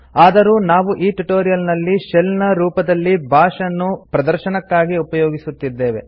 ಆದರೂ ನಾವು ಈ ಟ್ಯುಟೋರಿಯಲ್ ನಲ್ಲಿ ಶೆಲ್ ನ ರೂಪದಲ್ಲಿ ಬಾಶ್ ಅನ್ನು ಪ್ರದರ್ಶನಕ್ಕಾಗಿ ಉಪಯೋಗಿಸುತ್ತಿದ್ದೇವೆ